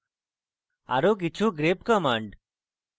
আরো কিছু grep commands